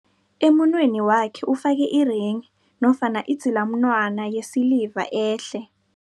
Emunweni wakhe ufake irenghi nofana idzilamunwana yesiliva ehle.